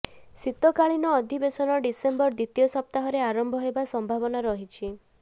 ଶୀତକାଳୀନ ଅଧିବେଶନ ଡିସେମ୍ବର ଦ୍ବିତୀୟ ସପ୍ତାହରେ ଆରମ୍ଭ ହେବା ସମ୍ଭାବନା ରହିଛି